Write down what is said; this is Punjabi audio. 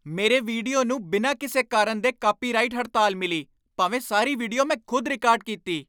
ਮੇਰੇ ਵੀਡੀਓ ਨੂੰ ਬਿਨਾਂ ਕਿਸੇ ਕਾਰਨ ਦੇ ਕਾਪੀਰਾਈਟ ਹੜਤਾਲ ਮਿਲੀ। ਭਾਵੇਂ ਸਾਰੀ ਵੀਡੀਓ ਮੈਂ ਖ਼ੁਦ ਰਿਕਾਰਡ ਕੀਤੀ।